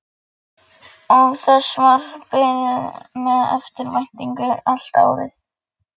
Og þess var beðið með eftirvæntingu allt árið.